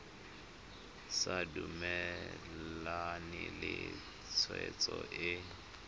sa dumalane le tshwetso e